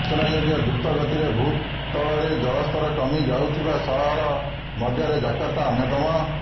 ସୂଚନାଯୋଗ୍ୟ ଦ୍ରୁତଗତିରେ ଭୂତଳରେ ଜଳସ୍ତର କମି ଯାଉଥିବା ସହର ମଧ୍ୟରେ ଜାକର୍ତ୍ତା ଅନ୍ୟତମ